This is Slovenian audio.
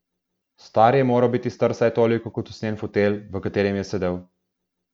Stari je moral biti star vsaj toliko kot usnjen fotelj, v katerem je sedel.